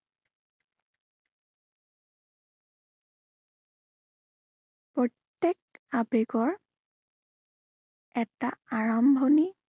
প্ৰত্য়েক আবেগৰ এটা আৰাম্ভণি